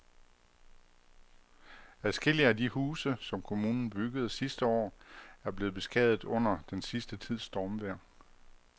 Adskillige af de huse, som kommunen byggede sidste år, er blevet beskadiget under den sidste tids stormvejr.